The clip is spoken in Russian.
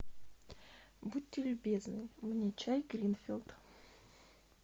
будьте любезны мне чай гринфилд